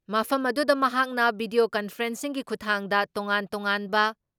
ꯃꯐꯝ ꯑꯗꯨꯗ ꯃꯍꯥꯛꯅ ꯚꯤꯗꯤꯌꯣ ꯀꯟꯐꯔꯦꯟꯁꯤꯡꯒꯤ ꯈꯨꯊꯥꯡꯗ ꯇꯣꯉꯥꯟ ꯇꯣꯉꯥꯟꯕ